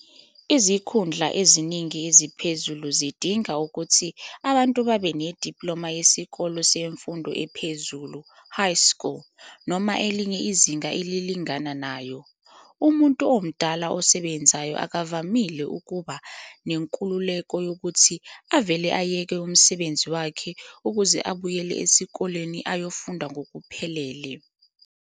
Izikhundla eziningi eziphezulu zidinga ukuthi abantu babe nediploma yesikole semfundo ephezulu, high school, noma elinye izinga elilingana nayo. Umuntu omdala osebenzayo akavamile ukuba nenkululeko yokuthi avele ayeke umsebenzi wakhe ukuze abuyele esikoleni ayofunda ngokuphelele.